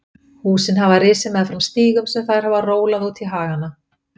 Húsin hafa risið meðfram þeim stígum sem þær hafa rólað út í hagann.